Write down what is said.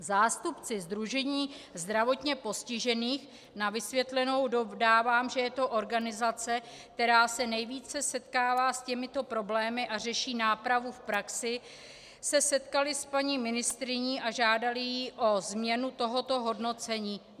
Zástupci Sdružení zdravotně postižených - na vysvětlenou dodávám, že je to organizace, která se nejvíce setkává s těmito problémy a řeší nápravu v praxi - se setkali s paní ministryní a žádali ji o změnu tohoto hodnocení.